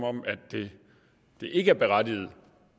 om det ikke er berettiget